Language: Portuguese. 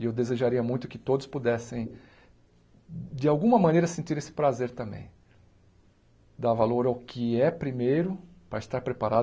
E eu desejaria muito que todos pudessem, de alguma maneira, sentir esse prazer também, dar valor ao que é primeiro para estar preparado